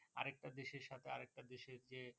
আরেকটা দেশের সাথে আরেকটা দেশের যে